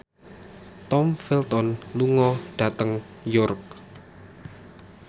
Tom Felton lunga dhateng York